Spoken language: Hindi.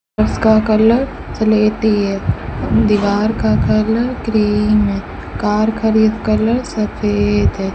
उसका कलर सलेटी है दीवार का कलर ग्रीन है कार का खड़ी कलर सफेद है।